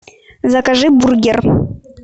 закажи бургер